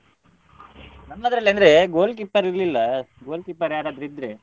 ನಮ್ಮದ್ರಲ್ಲಿ ಅಂದ್ರೆ goal keeper ಇರ್ಲಿಲ್ಲ goal keeper ಯಾರಾದ್ರೂ ಇದ್ರೆ.